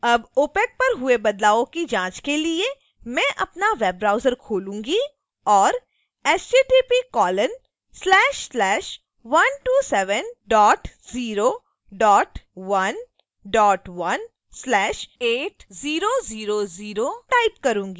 अब opac पर हुए बदलावों की जांच के लिए: मैं अपना web browser खोलूंगी और